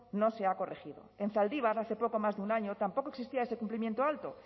no se ha corregido en zaldibar hace poco más de un año tampoco existía ese cumplimiento alto